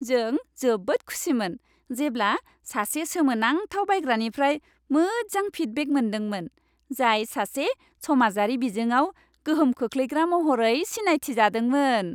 जों जोबोद खुसिमोन जेब्ला सासे सोमोनांथाव बायग्रानिफ्राय मोजां फिडबेक मोनदोंमोन, जाय सासे समाजारि बिजोंआव गोहोम खोख्लैग्रा महरै सिनायथिजादोंमोन।